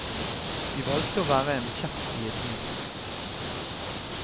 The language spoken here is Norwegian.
De valgte å være en kjepp i et hjul.